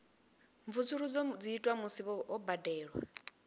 mvusuludzo dzi itwa musi ho badelwa